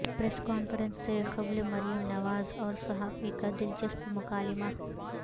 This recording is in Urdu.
پریس کانفرنس سے قبل مریم نواز اور صحافی کا دلچسپ مکالمہ